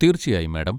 തീർച്ചയായും, മാഡം.